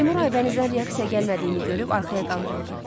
Seymur Aybənizdən reaksiya gəlmədiyini görüb arxaya qandırıldı.